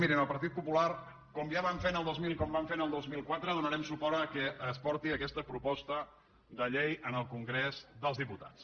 mirin el partit popular com ja vam fer el dos mil com vam fer el dos mil quatre donarem suport al fet que es porti aquesta proposta de llei al congrés dels diputats